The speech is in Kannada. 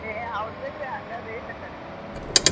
ಹೇ ಹೌದ್ ಬಿಡ್ರಿ ಹಂಗ ಬೇಷ್ ಅಕ್ಕಡೆ.